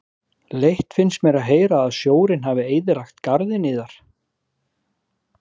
Hann var stórkostlegur